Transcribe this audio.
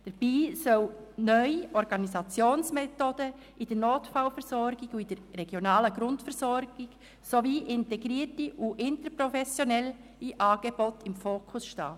Dabei sollen neue Organisationsmethoden in der Notfallversorgung und in der regionalen Grundversorgung sowie integrierte und interprofessionelle Angebote im Fokus stehen.